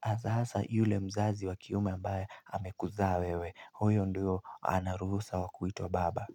Hasa hasa yule mzazi wa kiume ambaye amekuzaa wewe. Huyo ndio ana ruhusa wa kuitwa baba.